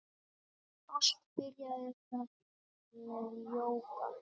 Allt byrjaði það með jóga.